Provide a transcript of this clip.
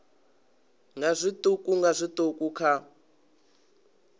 nga zwiṱuku nga zwiṱuku kha